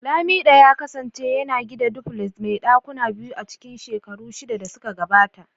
lamido ya kasance yana gina duplex mai dakuna biyu a cikin shekaru shida da suka gabata.